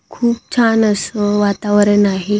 खूप छान असं वातावरण आहे.